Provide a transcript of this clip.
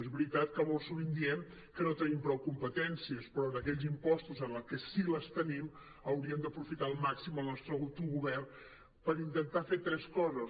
és veri·tat que molt sovint diem que no tenim prou competències però en aquells impostos en què sí que les tenim hauríem d’aprofitar al màxim el nostre autogovern per inten·tar fer tres coses